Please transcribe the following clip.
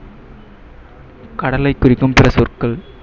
கடலை குறிக்கும் சில சொற்கள்